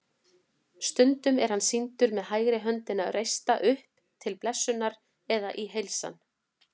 Stundum er hann sýndur með hægri höndina reista upp til blessunar eða í heilsan.